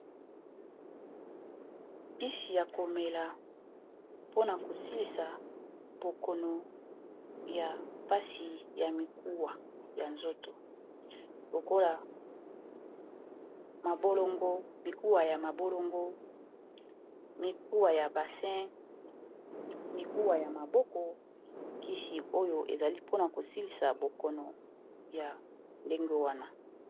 Kisi ya komela pona ko silisa bokono ya mpasi ya mikuwa ya nzoto, lokola mabolongo mikuwa ya mabolongo mikuwa ya basin mikuwa ya maboko kisi oyo ezali pona kosilisa bokono ya ndenge wana.